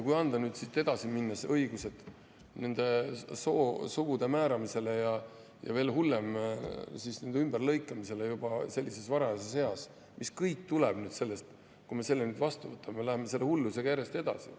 Kui anda nüüd siit edasi minnes õigus soo määramiseks, ja veel hullem, ümberlõikamiseks juba sellises varajases eas, mis kõik tuleneb sellest, kui me selle vastu võtame, siis me läheme selle hullusega järjest edasi.